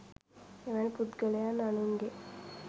එවැනි පුද්ගලයන් අනුන්ගේ